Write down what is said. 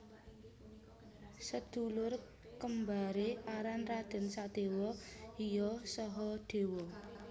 Sedulur kembare aran Raden Sadewa iya Sahadewa